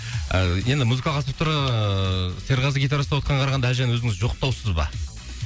ыыы енді музыкалық аспаптарға ыыы серғазы гитара ұстап отқанға қарағанда әлжан өзіңіз жоқтаусыз ба